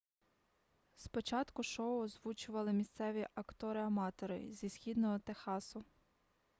спочатку шоу озвучували місцеві актори-аматори зі східного техасу